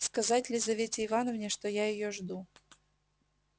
сказать лизавете ивановне что я её жду